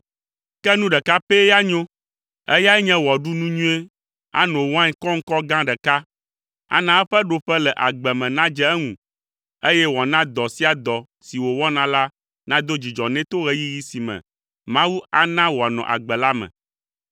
Ke nu ɖeka pɛ ya nyo, eyae nye wòaɖu nu nyuie, ano wain kɔŋkɔ gã ɖeka, ana eƒe ɖoƒe le agbe me nadze eŋu eye wòana dɔ sia dɔ si wòwɔna la nado dzidzɔ nɛ to ɣeyiɣi si me Mawu ana wòanɔ agbe la me.